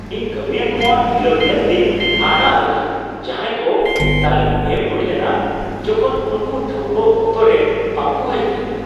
ᱤᱧ ᱠᱟᱹᱢᱤᱭᱟᱹ ᱠᱚᱣᱟᱜ ᱰᱷᱤᱞᱟᱹᱣ ᱧᱮᱞᱛᱮᱧ ᱦᱟᱦᱟᱲᱟᱜ ᱞᱮᱱᱟ ᱡᱟᱦᱟᱸᱭ ᱠᱚ ᱛᱟᱹᱞᱤᱢ ᱮᱢ ᱦᱩᱭ ᱞᱮᱱᱟ ᱡᱚᱠᱷᱚᱱ ᱩᱱᱠᱩ ᱴᱷᱟᱹᱣᱠᱟᱹ ᱚᱠᱛᱚ ᱨᱮ ᱵᱟᱝ ᱠᱚ ᱦᱮᱡ ᱞᱮᱱᱟ ᱾